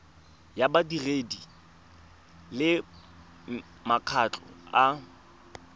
ya badiri le makgotla a